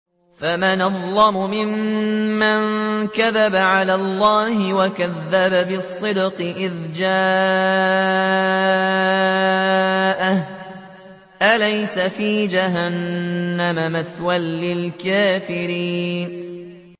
۞ فَمَنْ أَظْلَمُ مِمَّن كَذَبَ عَلَى اللَّهِ وَكَذَّبَ بِالصِّدْقِ إِذْ جَاءَهُ ۚ أَلَيْسَ فِي جَهَنَّمَ مَثْوًى لِّلْكَافِرِينَ